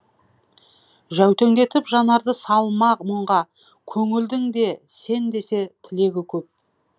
жәутеңдетіп жанарды салма мұңға көңілдің де сен десе тілегі көп